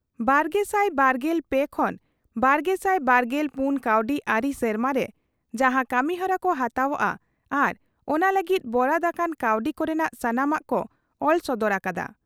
ᱵᱟᱨᱜᱮᱥᱟᱭ ᱵᱟᱨᱜᱮᱞ ᱯᱮ ᱠᱷᱚᱱ ᱵᱟᱨᱜᱮᱥᱟᱭ ᱵᱟᱨᱜᱮᱞ ᱯᱩᱱ ᱠᱟᱹᱣᱰᱤ ᱟᱹᱨᱤ ᱥᱮᱨᱢᱟᱨᱮ ᱡᱟᱦᱟᱸ ᱠᱟᱹᱢᱤᱦᱚᱨᱟ ᱠᱚ ᱦᱟᱛᱟᱣᱜᱼᱟ ᱟᱨ ᱚᱱᱟ ᱞᱟᱹᱜᱤᱫ ᱵᱚᱨᱟᱫ ᱟᱠᱟᱱ ᱠᱟᱹᱣᱰᱤ ᱠᱚᱨᱮᱱᱟᱜ ᱥᱟᱱᱟᱢᱟᱜ ᱠᱚ ᱚᱞ ᱥᱚᱫᱚᱨ ᱟᱠᱟᱱᱟ ᱾